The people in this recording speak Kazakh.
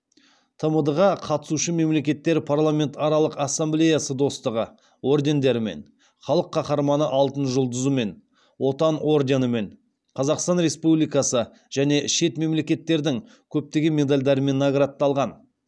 тмд ға қатысушы мемлекеттер парламентаралық ассамблеясы достастығы ордендерімен халық қаһарманы алтын жұлдызымен отан орденімен қазақстан республикасы және шет мемлекеттердің көптеген медальдарымен наградталған